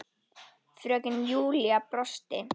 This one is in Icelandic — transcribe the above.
Fröken Júlía brosti.